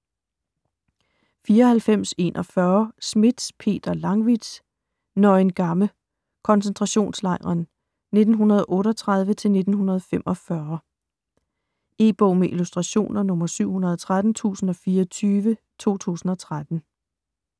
94.41 Smith, Peter Langwithz: Neuengamme: koncentrationslejren: 1938-1945 E-bog med illustrationer 713024 2013.